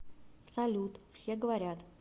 салют все говорят